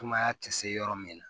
Sumaya tɛ se yɔrɔ min na